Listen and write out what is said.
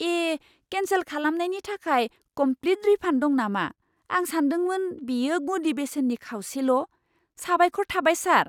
ए! Cancel खालामनायनि थाखाय complete refund दं नामा, आं सान्दोंमोन बेयो गुदि बेसेननि खावसेल'। साबायख'र थाबाय, सार!